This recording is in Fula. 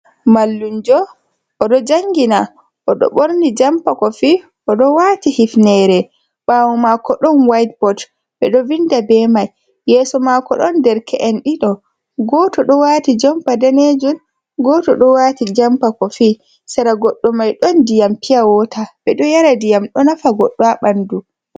"Mallumjo" oɗo jangina oɗo ɓorni jampa kofi oɗo wati hifnere bawo mako ɗon waiytbot ɓeɗo vinda ɓe mai yeso mako ɗon derke'en ɗiɗo goto do wati jampa danejum goto ɗo wati jampa kofi sera goɗɗo mai ɗon ndiyam piyawata ɓeɗo yara ndiyam ɗo nafa goɗdo ha ɓandu.